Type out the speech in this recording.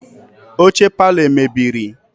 Oche parlour emebiri?